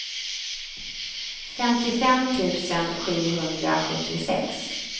femtiofem tusen sjuhundrasjuttiosex